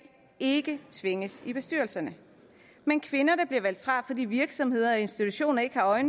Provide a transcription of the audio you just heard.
ikke tvinges i bestyrelserne men kvinder der bliver valgt fra fordi virksomheder og institutioner ikke har øje